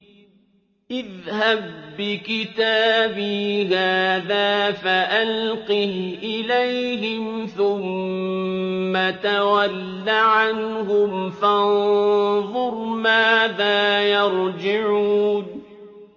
اذْهَب بِّكِتَابِي هَٰذَا فَأَلْقِهْ إِلَيْهِمْ ثُمَّ تَوَلَّ عَنْهُمْ فَانظُرْ مَاذَا يَرْجِعُونَ